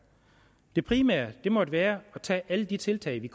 det primære må være at tage alle de tiltag vi